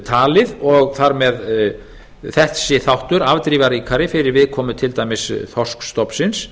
talið og þar með þessi þáttur afdrifaríkari fyrir viðkomu til dæmis þorskstofnsins